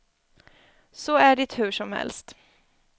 Så är det hur som helst.